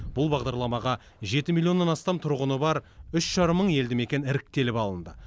бұл бағдарламаға жеті миллионнан астам тұрғыны бар үш жарым мың елді мекен іріктеліп алынды